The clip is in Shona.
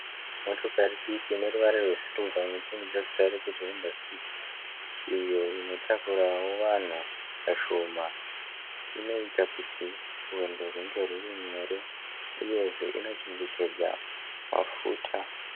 Motokari diki ineruvara rwesirivha inotumidzwa zita rekuti kuti hwonda fiti. Iyo inotakurawo vanhu vashoma. Inoita kutii rwendo rwunge rwurinyore uyezve inochengetedza mafuta.